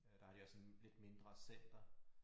Øh der har de også sådan et mindre center